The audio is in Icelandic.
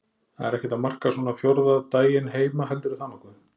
Það er ekkert að marka svona fjórða daginn heima heldurðu það nokkuð?